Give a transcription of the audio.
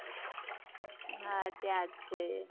હા ત્યાં જ છે એ